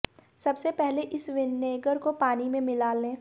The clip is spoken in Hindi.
सबसे पहले इस विनेगर को पानी में मिला लें